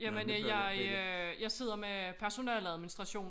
Jamen jeg øh jeg sidder med personaleadministration